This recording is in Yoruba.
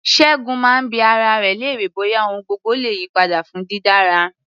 Ṣẹ́gun máa ń bi ara rẹ̀ léèrè bóyá ohun gbogbo le yí padà fún dídára.